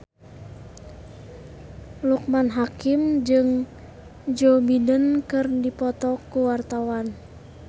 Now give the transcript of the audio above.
Loekman Hakim jeung Joe Biden keur dipoto ku wartawan